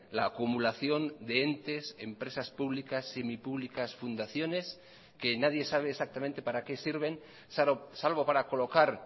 la acumulación de entes empresas públicas semipúblicas fundaciones que nadie sabe exactamente para qué sirven salvo para colocar